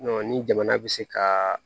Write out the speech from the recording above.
ni jamana bɛ se kaa